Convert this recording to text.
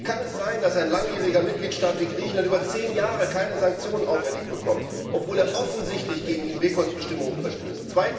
Wie kann es sein, dass ein langjähriger Mitgliedstaat wie Griechenland über zehn Jahre keine Sanktionen auferlegt bekommt, obwohl er offensichtlich gegen InVeKoS Bestimmungen verstößt?